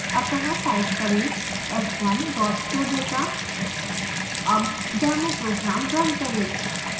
अत: type करें s1 showdata आब demo program now करें